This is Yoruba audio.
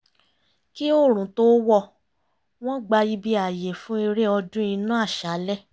kí òòrùn tó wọ̀ wọ́n gbá ibi ààyè fún eré ọdún iná àṣálẹ́